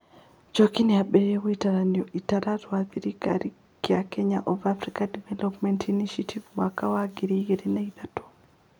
Njoki nĩ aambĩrĩirie ngwatanĩro ĩtarĩ rwa thirikari kĩa kenya of Africa Development Initiative (KODI) mwaka wa ngiri igĩrĩ na ithatũ.